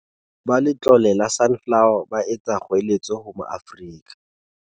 Ba Letlole la Sunflo wer, ba etsa kgoeletso ho Maafrika.